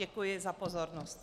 Děkuji za pozornost.